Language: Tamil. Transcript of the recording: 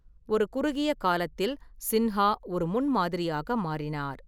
ஒரு குறுகிய காலத்தில், சின்ஹா ஒரு முன்மாதிரியாக மாறினார்.